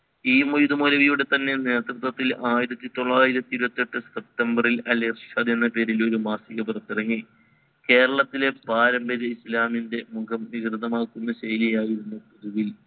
E Moidu മൗലവിയുട തന്നെ നേതൃത്വത്തിൽ ആയിരത്തി ത്തൊള്ളായിരത്തി ഇഇരുവത്തി എട്ട് september ഇത് അൽ ഇർശാദി എന്ന പേരിൽ ഒരു മാസിക പുറത്തിറങ്ങി കേരളത്തിലെ പാരമ്പര്യ ഇസ്ലാമിൻറെ മുഖം വികൃത മാകുന്ന ശയിലിലായിരുന്നു ഈ